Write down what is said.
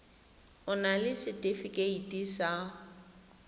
o na le setefikeiti sa